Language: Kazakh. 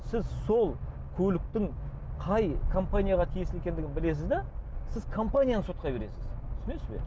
сіз сол көліктің қай компанияға тиесілі екендігін білесіз де сіз компанияны сотқа бересіз түсінесіз бе